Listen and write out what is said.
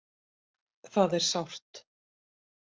Það er sárt